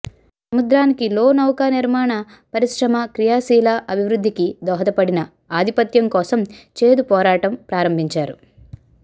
సముద్రానికి లో నౌకానిర్మాణ పరిశ్రమ క్రియాశీల అభివృద్ధికి దోహదపడిన ఆధిపత్యం కోసం చేదు పోరాటం ప్రారంభించారు